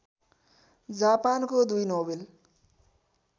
जापानको दुई नोबेल